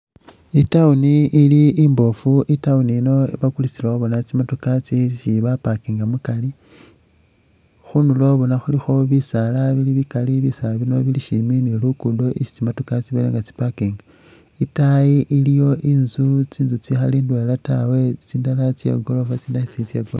I'town ili imboofu i'town yiino bona bakulisilawo tsimotoka tsisi bapakinga mukari. Khundulo bona khulikho bisaala bili bikaali, bisaala bino bili shimbi ni luguddo lwesi tsi'motoka tsibele nga tsipakinga. Itaayi iliyo inzu, tsinzu tsikhali tsindwela taa tsindala tse igoorofa tsitsindi sitsili tse goorofa taa.